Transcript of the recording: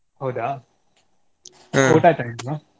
ಹೌದಾ ಊಟ ಆಯ್ತಾ ನಿಮ್ದು?